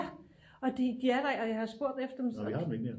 Ja og de er der ikke og jeg har spurgt efter dem